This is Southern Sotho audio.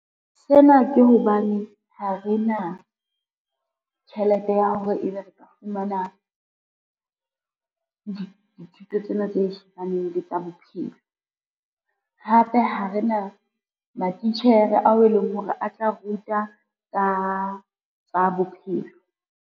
Sena ke hobane ha re na, tjhelete ya hore ebe re ka fumana, dithuto tsena tse shebaneng le tsa bophelo. Hape ha re na matitjhere ao e leng hore a tla ruta ka tsa bophelo.